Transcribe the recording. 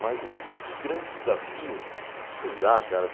Mas grandes desafios, sei lá, cara.